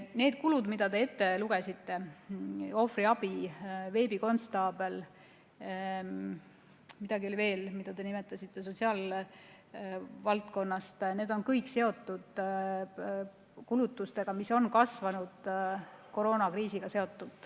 Need kulud, mis te ette lugesite – ohvriabi, veebikonstaabel, veel midagi, mida te nimetasite sotsiaalvaldkonnast –, on kõik seotud kulutustega, mis on kasvanud seoses koroonakriisiga.